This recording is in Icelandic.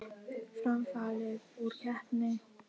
Fram fallið úr keppni